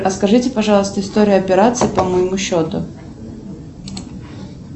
расскажите пожалуйста историю операций по моему счету